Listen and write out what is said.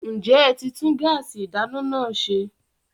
Ǹjẹ́ ẹ ti tún gáàsì ìdáná náà ṣe?